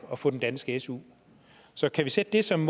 og få den danske su så kan vi sætte det som